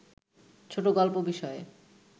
ছোটগল্প বিষয়ে